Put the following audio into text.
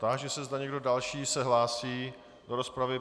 Táži se, zda někdo další se hlásí do rozpravy.